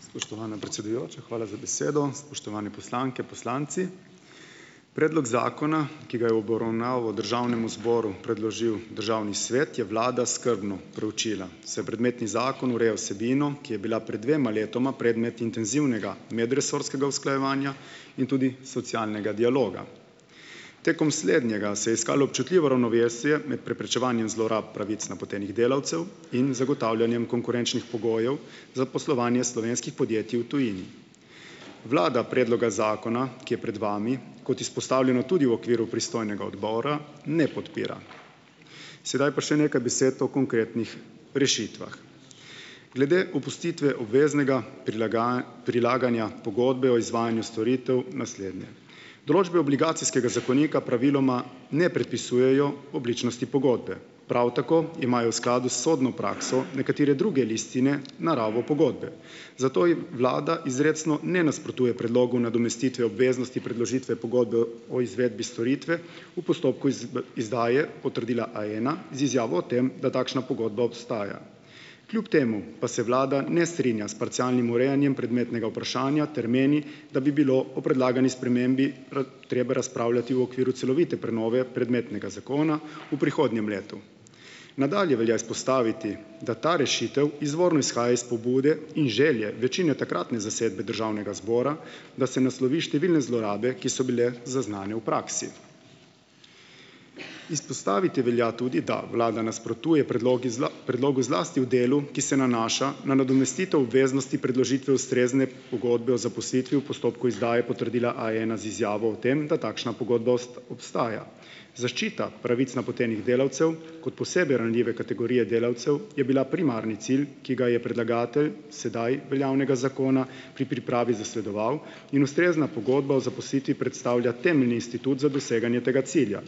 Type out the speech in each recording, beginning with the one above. Spoštovana predsedujoča, hvala za besedo! Spoštovane poslanke, poslanci! Predlog zakona, ki ga je v obravnavo državnemu zboru predložil državni svet, je vlada skrbno preučila. Saj predmetni zakon ureja vsebino, ki je bila pred dvema letoma predmet intenzivnega medresorskega usklajevanja in tudi socialnega dialoga. Tekom slednjega se je iskalo občutljivo ravnovesje med preprečevanjem zlorab pravic napotenih delavcev in zagotavljanjem konkurenčnih pogojev za poslovanje slovenskih podjetij v tujini. Vlada predloga zakona, ki je pred vami, kot izpostavljeno tudi v okviru pristojnega odbora, ne podpira. Sedaj pa še nekaj besed o konkretnih rešitvah. Glede opustitve obveznega prilaganja pogodbe o izvajanju storitev naslednje. Določbe obligacijskega zakonika praviloma ne predpisujejo obličnosti pogodbe, prav tako imajo v skladu s sodno prakso nekatere druge listine naravo pogodbe, zato ji vlada izrecno ne nasprotuje, predlogu nadomestitve obveznosti predložitve pogodbe o izvedbi storitve v postopku izdaje potrdila A ena z izjavo o tem, da takšna pogodba obstaja. Kljub temu pa se vlada ne strinja s parcialnim urejanjem predmetnega vprašanja ter meni, da bi bilo o predlagani spremembi treba razpravljati v okviru celovite prenove predmetnega zakona v prihodnjem letu. Nadalje velja izpostaviti, da ta rešitev izvorno izhaja iz pobude in želje večine takratne zasedbe državnega zbora, da se naslovi številne zlorabe, ki so bile zaznane v praksi. Izpostaviti velja tudi, da vlada nasprotuje predlogi predlogu zlasti v delu, ki se nanaša na nadomestitev obveznosti predložitve ustrezne pogodbe o zaposlitvi v postopku izdaje potrdila A ena z izjavo o tem, da takšna pogodba obstaja. Zaščita pravic napotenih delavcev kot posebej ranljive kategorije delavcev je bila primarni cilj, ki ga je predlagatelj sedaj veljavnega zakona pri pripravi zasledoval in ustrezna pogodba o zaposlitvi predstavlja temeljni institut za doseganje tega cilja,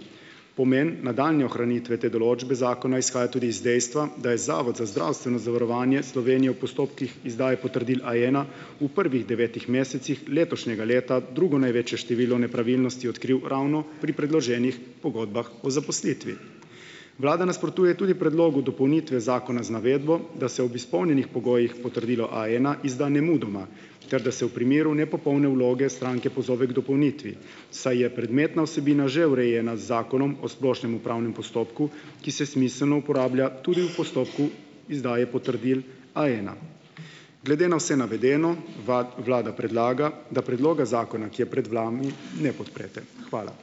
pomen nadaljnje ohranitve te določbe zakona izhaja tudi iz dejstva, da je Zavod za zdravstveno zavarovanje Slovenije v postopkih izdaje potrdil A ena v prvih devetih mesecih letošnjega leta drugo največje število nepravilnosti odkril ravno pri predloženih pogodbah o zaposlitvi. Vlada nasprotuje tudi predlogu dopolnitve zakona z navedbo, da se ob izpolnjenih pogojih potrdilo A ena izda nemudoma ter da se v primeru nepopolne vloge stranke pozove k dopolnitvi, saj je predmetna vsebina že urejena z Zakonom o splošnem upravnem postopku, ki se smiselno uporablja tudi v postopku izdaje potrdil A ena. Glede na vse navedeno vlada predlaga, da predloga zakona, ki je pred vami, ne podprete. Hvala.